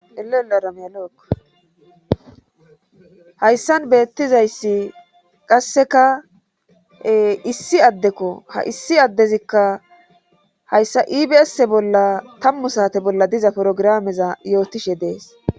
Elelaayl hayssan beettizayssi qasseka issi addekko ha issi addezikka hayssa ibasse bolla tammu saate bolla diza porogirameza yootishe dees.